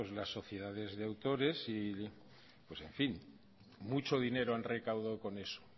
las sociedades de autores pues en fin mucho dinero han recaudado con eso